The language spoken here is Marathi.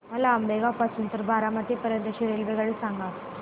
मला आंबेगाव पासून तर बारामती पर्यंत ची रेल्वेगाडी सांगा